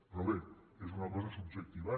però bé és una cosa subjectiva